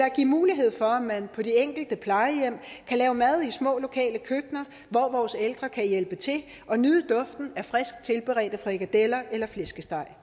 at give mulighed for at man på de enkelte plejehjem kan lave mad i små lokale køkkener hvor vores ældre kan hjælpe til og nyde duften af frisk tilberedte frikadeller eller flæskesteg